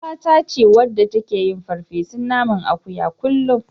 Ƴaruwata ce wadda take yin farfesun naman akuyan kullum.